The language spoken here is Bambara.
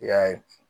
I y'a ye